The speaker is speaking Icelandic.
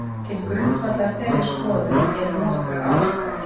Til grundvallar þeirri skoðun eru nokkrar ástæður.